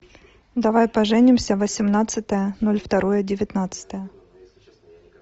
давай поженимся восемнадцатое ноль второе девятнадцатое